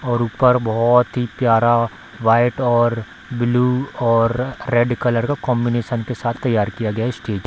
और ऊपर बहुत ही प्यारा व्हाइट और ब्लू और रेड कलर का कॉम्बिनेशन के साथ तैयार किया गया है स्टेज ।